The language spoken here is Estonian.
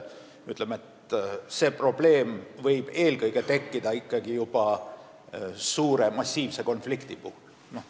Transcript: Aga see probleem võib tekkida ikkagi juba väga massiivse konflikti puhul.